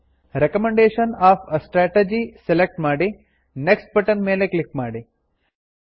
recommendation of a strategy select ಮಾಡಿ next button click ಮಾಡಿ